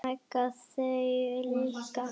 Mega þau líka?